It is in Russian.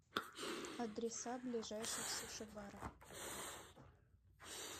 адреса ближайших суши баров